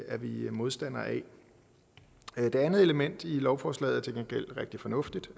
er vi modstandere af det andet element i lovforslaget er til gengæld rigtig fornuftigt